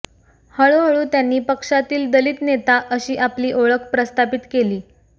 हळूहळू त्यांनी पक्षातील दलित नेता अशी आपली ओळख प्रस्थापित केली